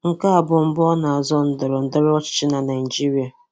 Nke a bụ mbụ ọ na-azọ ndọrọndọrọ ọchịchị na Naịjirịa